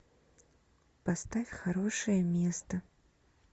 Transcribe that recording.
поставь хорошее место